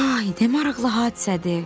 Ay, nə maraqlı hadisədir!